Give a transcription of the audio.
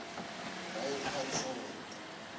right hand side